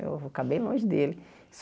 Eu vou ficar bem longe dele.